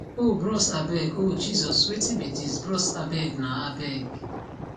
oh bros abeg oh jesus wetin be dis bros abeg na abeg